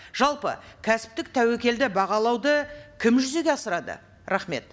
жалпы кәсіптік тәуекелді бағалауды кім жүзеге асырады рахмет